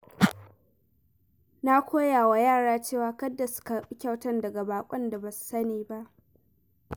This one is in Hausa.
Na koya wa yara cewa kada su karɓi kyauta daga baƙon da ba su sani ba.